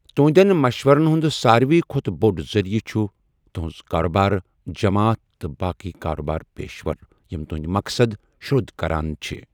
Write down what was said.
تُہُنٛدٮ۪ن مَشوِرَن ہُنٛد سارِوٕے کھۄتہٕ بوڈ ذریعہ چُھ تُہُنٛز کاربار جَماتھ تہٕ باقی كاربار پیشور یِم تُہندۍ مقصد شرودھ كران چِھ ۔